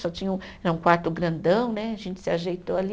Só tinha um, era um quarto grandão né, a gente se ajeitou ali.